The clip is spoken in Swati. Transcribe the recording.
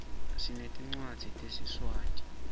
sinetncwadzi tesiswati